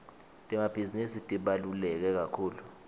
temabhizinisi tibalulekekakhulu